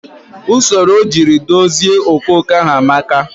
Usoro ojiri dozi okooko ahụ amaka